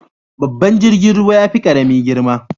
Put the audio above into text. Babban jirgin ruwa yafi karami girma.